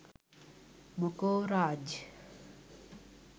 මොකෝ රාජ්.